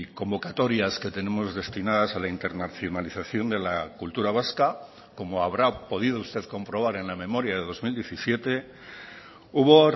convocatorias que tenemos destinadas a la internacionalización de la cultura vasca como habrá podido usted comprobar en la memoria de dos mil diecisiete hubo